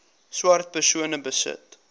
swart persone besit